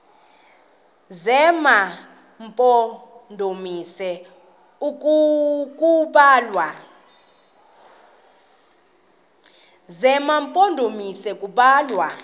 zema mpondomise kubalwa